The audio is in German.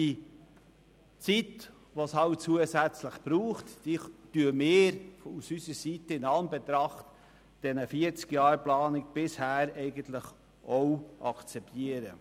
Die zusätzlich benötigte Zeit können wir von unserer Seite in Anbetracht der 40 Jahre Planung akzeptieren.